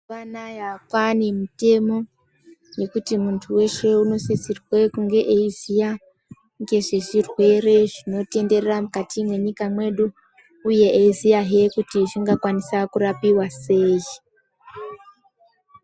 Mazuwa anaya kwanemutemo wekuti muntu weshe unosisirwa kunge achiziya ngezvezvirwere zvinotwnderera mukati mwenyika yedu uye achiziva kuti zvingakwanisa kurapika sei.